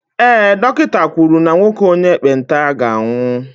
ee, dọkịta kwuru na nwoke onye ekpenta ga-anwụ